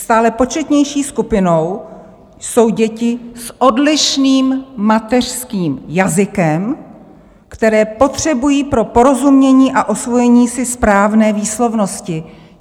Stále početnější skupinou jsou děti s odlišným mateřským jazykem, které potřebují pro porozumění a osvojení si správné výslovnosti."